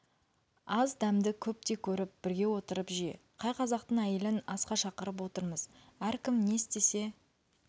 аз дәмді көптей көріп бірге отырып же қай қазақтың әйелін асқа шақырып отырмыз әркім не істесе